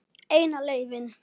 Eina leiðin.